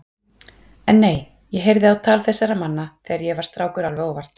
Nei, en ég heyrði á tal þessara manna þegar ég var strákur alveg óvart.